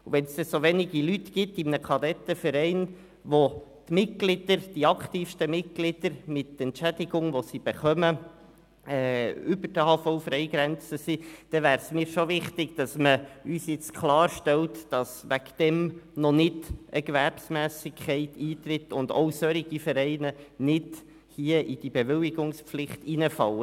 Wenn es Kadettenvereine gibt, bei denen die Entschädigungen für die aktivsten Mitglieder die AHV-Freifreigrenze überschreiten, wäre es für mich wichtig, klarzustellen, dass aus diesem Grund noch keine Gewerbsmässigkeit vorliegt und Vereine nicht aus diesem Grund der Bewilligungspflicht unterstellt werden.